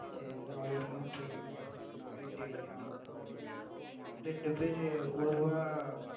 எல்லா ஊர்லயும் போய் இந்த மாதிரி நம்ம mat விக்கிறோம்